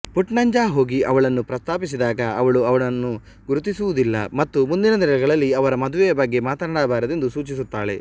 ಪುಟ್ನಂಜ ಹೋಗಿ ಅವಳನ್ನು ಪ್ರಸ್ತಾಪಿಸಿದಾಗ ಅವಳು ಅವನನ್ನು ಗುರುತಿಸುವುದಿಲ್ಲ ಮತ್ತು ಮುಂದಿನ ದಿನಗಳಲ್ಲಿ ಅವರ ಮದುವೆಯ ಬಗ್ಗೆ ಮಾತನಾಡಬಾರದೆಂದು ಸೂಚಿಸುತ್ತಾಳೆ